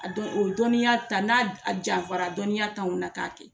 A dɔn o dɔnniya ta n'a janfara dɔnniya t'anw na k'a kɛ.